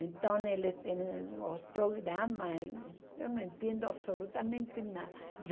Então ele tem os programas, eu não entendo absolutamente nada.